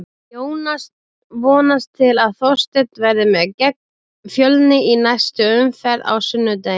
Jónas vonast til að Þorsteinn verði með gegn Fjölni í næstu umferð á sunnudaginn.